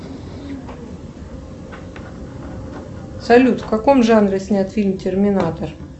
салют в каком жанре снят фильм терминатор